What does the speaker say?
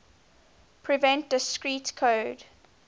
prevent discrete code